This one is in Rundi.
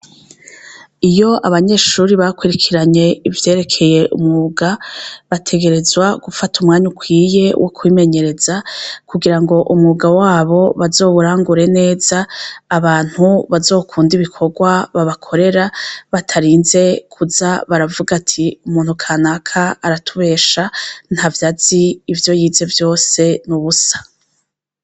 Iyo abanyeshuri bakwirikiranye ivyerekeye umuga bategerezwa gufata umwanya ukwiye wo kwimenyereza kugira ngo umwuga wabo bazoburangure neza abantu bazokunda ibikorwa babakorera batarinze kuza baravuga ati umuntu ka naka araa tubesha nta vyazi ivyo yize vyose n'ubusa.